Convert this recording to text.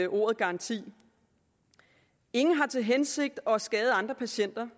ordet garanti ingen har til hensigt at skade andre patienter